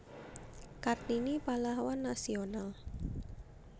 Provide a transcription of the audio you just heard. Kartini Pahlawan Nasional